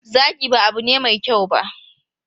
Zagi ba abu ne mai kyau ba.